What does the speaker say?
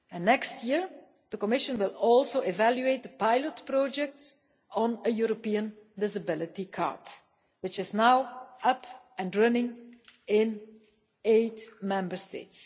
Next year, the Commission will also evaluate the pilot project on a European visibility card, which is now up and running in eight Member States.